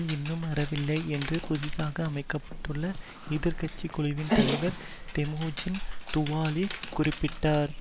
இன்னும் ஆறவில்லை என்று புதிதாக அமைக்க பட்டுள்ள எதிர் கட்சி குழுவின் தலைவர் தெமோஜின் துவாலி குறிப்பிட்டார்